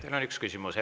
Teile on üks küsimus.